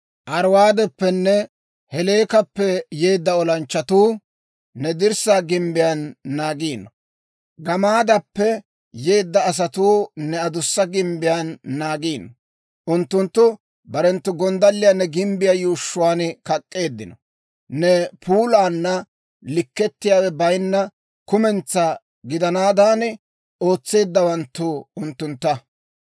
Ariwaadeppenne Heleekappe yeedda olanchchatuu ne dirssaa gimbbiyaan naagiino; Gamaadappe yeedda asatuu ne adussa gimbbiyaan naagiino. Unttunttu barenttu gonddalliyaa ne gimbbiyaa yuushshuwaan kak'k'eeddino; ne puulaana likketiyaawe bayinna kumentsaa gidanaadan ootseeddawanttu unttuntta.